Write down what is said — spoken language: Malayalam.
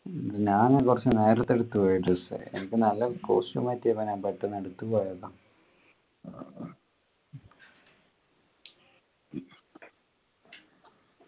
ഞാന് കുറച്ചു നേരത്തെ എടുത്തു പോയി dress എനിക്ക് നല്ല costume പറ്റിയപ്പോ ഞാൻ പെട്ടന്ന് എടുത്തു പോയതാ